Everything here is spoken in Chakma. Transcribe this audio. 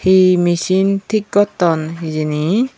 hi misin tik gotton hijeni.